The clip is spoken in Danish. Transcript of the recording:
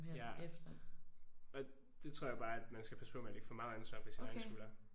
Ja og det tror jeg bare at man skal passe på med at lægge for meget ansvar på sine egne skuldre